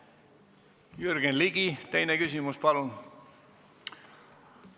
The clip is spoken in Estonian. Jürgen Ligi, teine küsimus, palun!